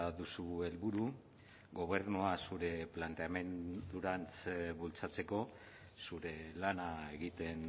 duzu helburu gobernua zurea planteamendua bultzatzeko zure lana egiten